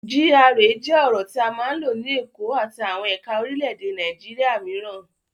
GRA jẹ́ ọ̀rọ̀ tí a máa ń lò ní Èkó àti àwọn ẹ̀ka orílẹ̀-èdè Nàìjíríà mìíràn.